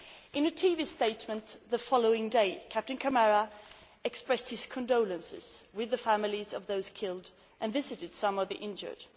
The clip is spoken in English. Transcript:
In a TV statement the following day, Captain Camara expressed his condolences with the families of those killed and visited some of the injured.